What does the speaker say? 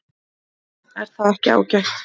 Er það ekki ágætt?